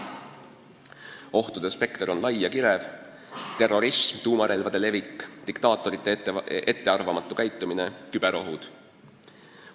Ohtude spekter on lai ja kirev: terrorism, tuumarelvade levik, diktaatorite ettearvamatu käitumine, küberohud.